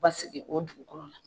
Basigi o dugu kɔnɔ na.